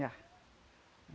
Já.